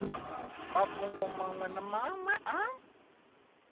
mafhungo maṅwe na maṅwe a